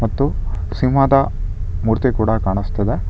ಮತ್ತು ಸಿಂಹದ ಮೂರ್ತಿ ಕೂಡ ಕಾಣಸ್ತಿದೆ.